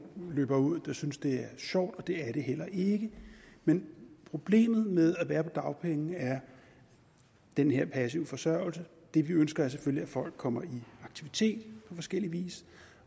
løber ud der synes det sjovt og det er det heller ikke men problemet med at være på dagpenge er den her passive forsørgelse det vi ønsker er selvfølgelig at folk kommer i aktivitet på forskellig vis